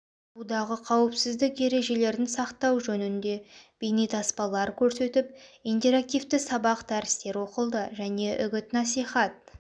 судағы қауіпсіздік ережелерін сақтау жөнінде бейнетаспалар көрсетіп интерактивті сабақ дәрістер оқылды және үгіт насихат